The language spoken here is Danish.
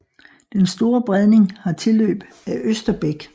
Den Store Bredning har tilløb af Østerbæk